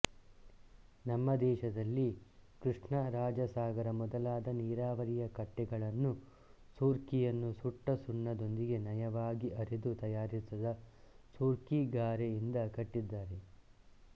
ನಮ್ಮ ದೇಶದಲ್ಲಿ ಕೃಷ್ಣರಾಜಸಾಗರ ಮೊದಲಾದ ನೀರಾವರಿಯ ಕಟ್ಟೆಗಳನ್ನು ಸೂರ್ಕಿಯನ್ನು ಸುಟ್ಟ ಸುಣ್ಣದೊಂದಿಗೆ ನಯವಾಗಿ ಅರೆದು ತಯಾರಿಸಿದ ಸೂರ್ಕಿ ಗಾರೆಯಿಂದ ಕಟ್ಟಿದ್ದಾರೆ